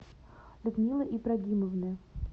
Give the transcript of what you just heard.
людмилы ибрагимовны